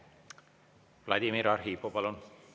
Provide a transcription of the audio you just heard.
Vladimir Arhipov, palun!